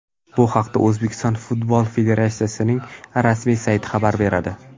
Bu haqda O‘zbekiston futbol federatsiyasining rasmiy sayti xabar beradi.